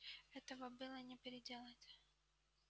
этого было не переделать